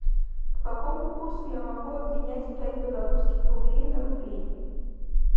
по какому курсу я могу обменять пять белорусских рублей на рубли